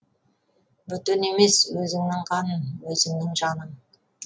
бөтен емес өзіңнің қаның өзіңнің жаның